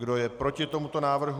Kdo je proti tomuto návrhu?